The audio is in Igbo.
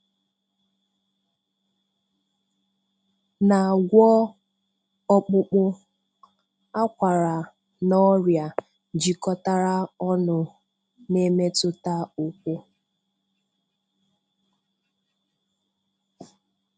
Na-agwọ ọkpụkpụ, akwara na ọrịa jikọtara ọnụ na-emetụta ụkwụ.